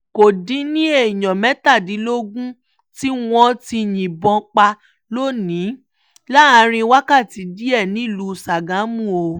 kò dín ní èèyàn mẹ́tàdínlógún tiwọn tí yìnbọn pa lónì-ín láàrin wákàtí díẹ̀ nílùú sàgámù o